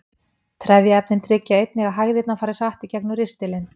Trefjaefnin tryggja einnig að hægðirnar fara hratt í gegnum ristilinn.